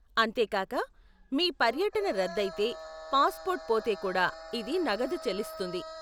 అంతేకాక, మీ పర్యటన రద్దైతే, పాస్పోర్ట్ పోతే కూడా ఇది నగదు చెల్లిస్తుంది.